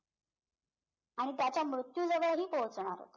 आणि त्याच्या मृत्यूजवळही पोहोचणार होता